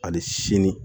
Hali sini